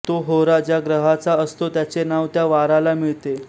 तो होरा ज्या ग्रहाचा असतो त्याचे नाव त्या वाराला मिळते